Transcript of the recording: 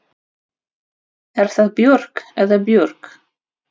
Er það Björg eða Björg?